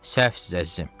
Səhv siz əzizim.